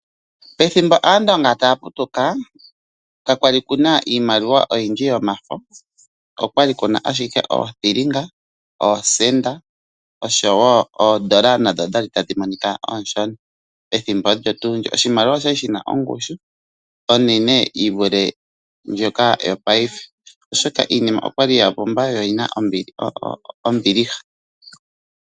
Pethimbo Aandonga taya putuka kakwali kuna iimaliwa oyindji yomafo okwali kuna ashike, oothilinga, oosenda oshowo oodola okwali tadhi monika oonshona. Oshimaliwa okwali shina ongushu onene yivule ndjoka yongashingeyi oshoka iinima okwali yapumba yo oyina ombiliha.